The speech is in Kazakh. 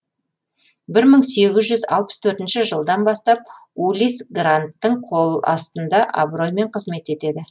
бір мың сегіз жүз алпыс төртінші жылдан бастап улисс гранттың қоластында абыроймен қызмет етеді